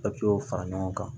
Papiyew fara ɲɔgɔn kan